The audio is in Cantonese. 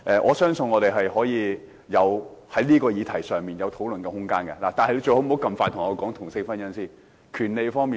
我相信我們在這個議題上有討論的空間，但他最好不要這麼快向我提出同性婚姻合化法。